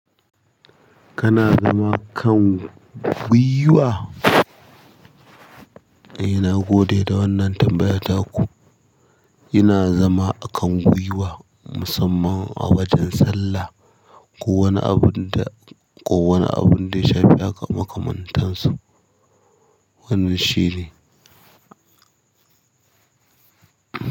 Kana zama kan gwiwa? Eh nagode da wannan tambaya taku ina zama a kan gwiwa, musamman a wajan sallah. Ko wani abun da, ko wani abun da ya shafi makaman tansu. Wannan shine.